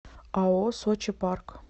ао сочи парк